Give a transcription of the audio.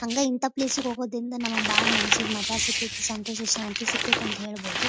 ಹಂಗ ಇಂಥ ಪ್ಲೇಸ್ ಗೆ ಹೋಗೋದ್ರಿಂದ ನಮಗೆ ಬಹಳ ಮನಸ್ಸಿಗೆ ಮಜಾ ಸಿಗತೈತಿ ಸಂತೋಷ ಶಾಂತಿ ಸಿಗತೈತಿ ಅಂತ ಹೇಳಬಹುದು --